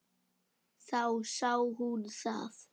Þá sá hún það.